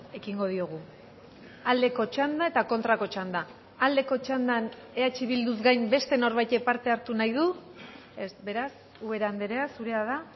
ekingo diogu aldeko txanda eta kontrako txanda aldeko txandan eh bilduz gain beste norbaitek parte hartu nahi du ez beraz ubera andrea zurea da